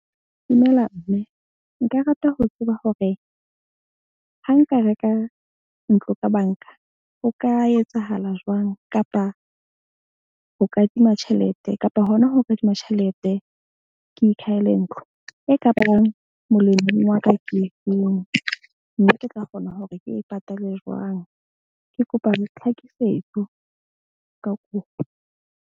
Dumela mme, nka rata ho tseba hore ha nka reka ntlo ka bank-a. Ho ka etsahala jwang kapa ho kadima tjhelete kapa hona ho kadima tjhelete ke ikhahele ntlo. E ka bang molemong wa ka ke efeng? Mme ke tla kgona hore ke e patale jwang? Ke kopa tlhakisetso ka kopo.